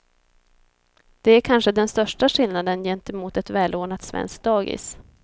Det är kanske den största skillnaden gentemot ett välordnat svenskt dagis.